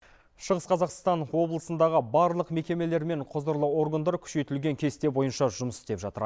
шығыс қазақстан облысындағы барлық мекемелер мен құзырлы органдар күшейтілген кесте бойынша жұмыс істеп жатыр